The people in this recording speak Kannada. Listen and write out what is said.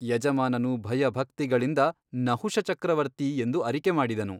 ಯಜಮಾನನು ಭಯಭಕ್ತಿಗಳಿಂದ ನಹುಷಚಕ್ರವರ್ತಿ ಎಂದು ಅರಿಕೆ ಮಾಡಿದನು.